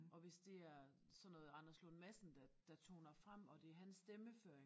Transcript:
Og hvis det er sådan noget Anders Lund Madsen der der toner frem og det hans stemmeføring